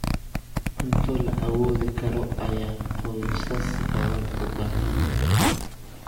Cunto la awoodi karo ayaa qoysas badan u baahan yihiin.